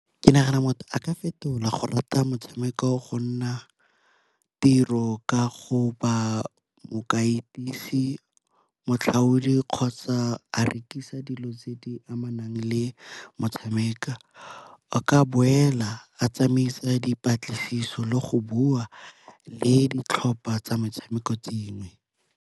Ke nagana motho a ka fetola go rata motshameko go nna tiro ka go ba , motlhaodi kgotsa a rekisa dilo tse di amanang le motshameko. A ka boela a tsamaisa re dipatlisiso le go bua le ditlhopha tsa metshameko dingwe.